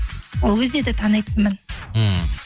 ол кезде де танитынмын ммм